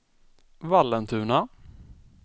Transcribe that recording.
Vallentuna